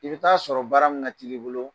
I bɛ taaa sɔrɔ baara min teli bolo.